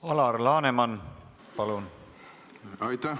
Alar Laneman, palun!